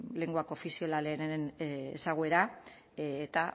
lengua koofizialaren ezaguera eta